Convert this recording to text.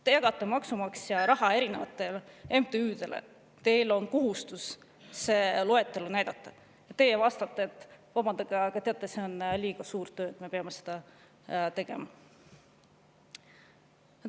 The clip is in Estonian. Te jagate maksumaksja raha erinevatele MTÜ‑dele, teil on kohustus seda loetelu näidata, aga te vastate, et vabandage, teate, see on liiga suur töö, et me peaks seda tegema.